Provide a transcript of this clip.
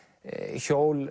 tannhjól